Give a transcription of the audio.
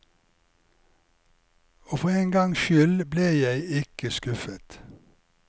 Og for en gangs skyld ble jeg ikke skuffet.